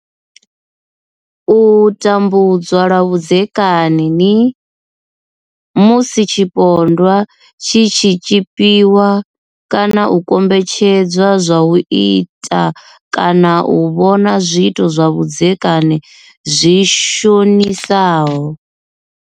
U tambudzwa lwa vhudzekani ni. Musi tshipondwa tshi tshi tshipiwa kana u kombetshedzwa zwa u ita kana u vhona zwiito zwa vhudzekani zwi shonisaho.